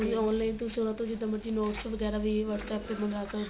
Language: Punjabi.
online ਤੁਸੀਂ ਉਹਨਾ ਤੋਂ ਜਿੱਦਾ ਮਰਜੀ notes ਵਗੈਰਾ ਵੀ whatsapp ਤੇਂ ਮੰਗਾ ਸਕਦੇ